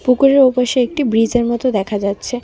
পুকুরের ওপাশে একটি ব্রিজের মতো দেখা যাচ্ছে।